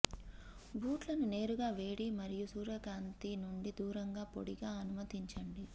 బూట్లను నేరుగా వేడి మరియు సూర్యకాంతి నుండి దూరంగా పొడిగా అనుమతించండి